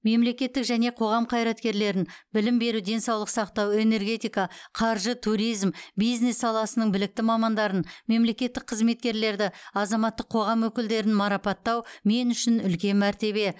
мемлекеттік және қоғам қайраткерлерін білім беру денсаулық сақтау энергетика қаржы туризм бизнес саласының білікті мамандарын мемлекеттік қызметкерлерді азаматтық қоғам өкілдерін марапаттау мен үшін үлкен мәртебе